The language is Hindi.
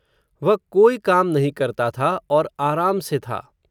वह कोई काम नहीं करता था, और आराम से था